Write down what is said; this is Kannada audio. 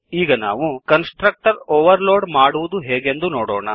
ಈಗ ನಾವು ಕನ್ಸ್ ಟ್ರಕ್ಟರ್ ಓವರ್ ಲೋಡ್ ಮಾಡುವುದು ಹೇಗೆಂದು ನೋಡೋಣ